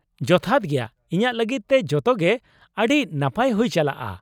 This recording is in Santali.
ᱡᱚᱛᱷᱟᱛ ᱜᱮᱭᱟ, ᱤᱧᱟᱹᱜ ᱞᱟᱜᱤᱫ ᱛᱮ ᱡᱚᱛᱚᱜᱮ ᱟᱹᱰᱤ ᱱᱟᱯᱟᱭ ᱦᱩᱭ ᱪᱟᱞᱟᱜᱼᱟ ᱾